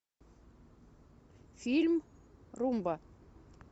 фильм румба